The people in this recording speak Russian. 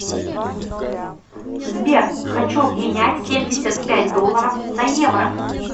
сбер хочу обменять семьдесят пять долларов на евро